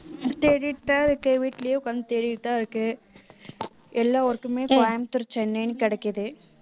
தேடிடுதான் இருக்கு வீட்டிலேயே உட்கார்ந்து தேடிட்டுதான் இருக்கேன் எல்லா work உமே கோயம்புத்தூர் சென்னைன்னு கிடைக்குது